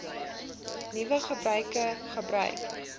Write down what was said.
nuwe gebruik gebruik